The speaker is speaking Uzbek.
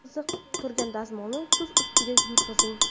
Qizib turgan dazmolni tuz ustida yurgizing.